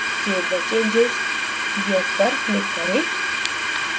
save the changes yes पर click करें